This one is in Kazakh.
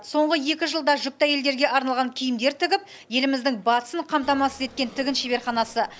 соңғы екі жылда жүкті әйелдерге арналған киімдер тігіп еліміздің батысын қамтамасыз еткен тігін шеберханасы